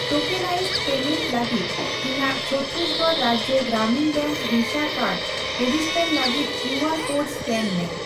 Tokenised payment ᱞᱟᱹᱜᱤᱫ ᱤᱧᱟᱜ Chhattisgarh Rajya Gramin bank Visa card register ᱞᱟᱹᱜᱤᱫ ᱠᱤᱭᱩᱟᱨ ᱠᱳᱰ ᱮᱥᱠᱮᱱ ᱢᱮ ᱾